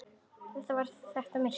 Þar var þétt myrkur.